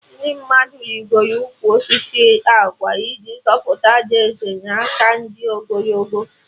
Ndị mmadụ rigoro ụkwụ osisi agwa iji zọpụta Ada Eze na aka ndị ogologo